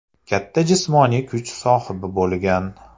Katta jismoniy kuch sohibi bo‘lgan.